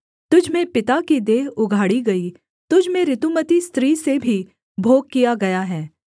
तुझ में पिता की देह उघाड़ी गई तुझ में ऋतुमती स्त्री से भी भोग किया गया है